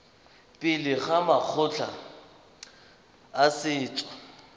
pele ga makgotla a setso